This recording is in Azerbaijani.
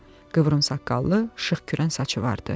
Qıvrımsaqqallı, şıx kürən saçı vardı.